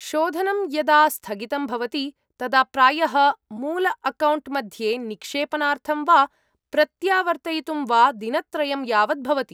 शोधनं यदा स्थगितं भवति तदा प्रायः मूलअकौण्ट् मध्ये निक्षेपनार्थं वा प्रत्यावर्तयितुं वा दिनत्रयं यावत् भवति।